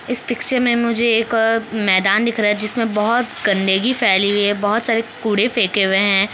इस पिक्चर में मुझे एक मैदान दिख रहा है जिसमे बहुत गन्दगी फैली हुई है बहोत सारे कूड़े फेके हुए है।